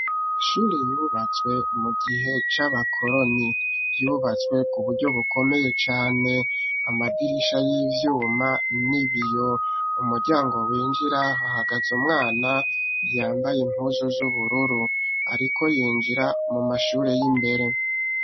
Amashure yubatswe mu gihe c'abakoroni yubatswe kuburyo bukomeye cane, amadirisha y'ivyuma n'ibiyo .Mu muryango winjira hahagaze umwana yambaye impuzu z'ubururu ariko yinjira mu mashure y'imbere.